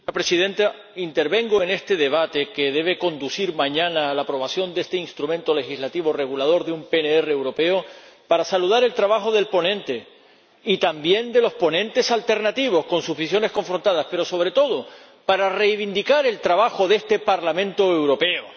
Señora Presidenta, intervengo en este debate, que debe conducir mañana a la aprobación de este instrumento legislativo regulador de un PNR europeo, para saludar el trabajo del ponente y también de los ponentes alternativos, con sus visiones confrontadas, pero, sobre todo, para reivindicar el trabajo de este Parlamento Europeo.